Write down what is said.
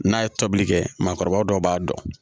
N'a ye tobili kɛ maakɔrɔba dɔw b'a dɔn